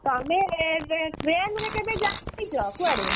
ତମେ train ରେ କେବେ ଯାଇଛ କୁଆଡେ?